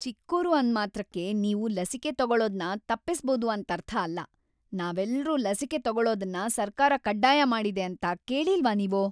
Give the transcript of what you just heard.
ಚಿಕ್ಕೋರು ಅಂದ್ಮಾತ್ರಕ್ಕೆ ನೀವು ಲಸಿಕೆ ತಗೊಳೋದ್ನ ತಪ್ಪಿಸ್ಬೋದು ಅಂತರ್ಥ ಅಲ್ಲ. ನಾವೆಲ್ರೂ ಲಸಿಕೆ ತಗೊಳೋದನ್ನ ಸರ್ಕಾರ ಕಡ್ಡಾಯ ಮಾಡಿದೆ ಅಂತ ಕೇಳಿಲ್ವಾ ನೀವು?